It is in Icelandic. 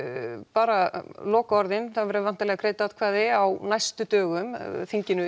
bara lokaorðin það verða væntanlega greidd atkvæði á næstu dögum þinginu